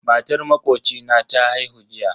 Matar makocina ta haihu jiya